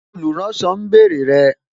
Àwọn olùránsọ ń bèrè rẹ